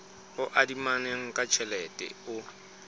o adimanang ka tjhelete o